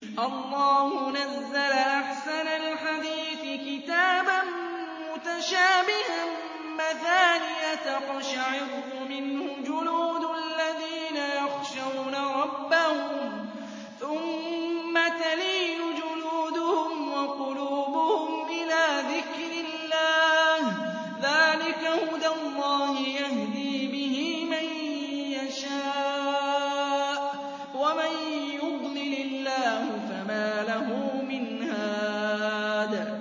اللَّهُ نَزَّلَ أَحْسَنَ الْحَدِيثِ كِتَابًا مُّتَشَابِهًا مَّثَانِيَ تَقْشَعِرُّ مِنْهُ جُلُودُ الَّذِينَ يَخْشَوْنَ رَبَّهُمْ ثُمَّ تَلِينُ جُلُودُهُمْ وَقُلُوبُهُمْ إِلَىٰ ذِكْرِ اللَّهِ ۚ ذَٰلِكَ هُدَى اللَّهِ يَهْدِي بِهِ مَن يَشَاءُ ۚ وَمَن يُضْلِلِ اللَّهُ فَمَا لَهُ مِنْ هَادٍ